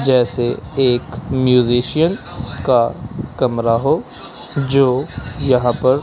जैसे एक म्यूजिशियन का कमरा हो जो यहां पर--